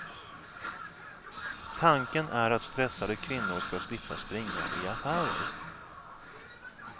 Tanken är att stressade kvinnor ska slippa springa i affärer.